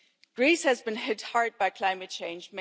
Greece has been hit hard by climate change.